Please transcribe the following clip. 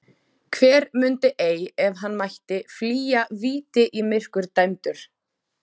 Hver mundi ei, ef hann mætti, flýja víti í myrkur dæmdur?